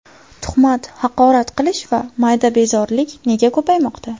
Tuhmat, haqorat qilish va mayda bezorilik nega ko‘paymoqda?.